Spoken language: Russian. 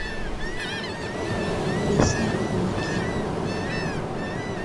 песня умки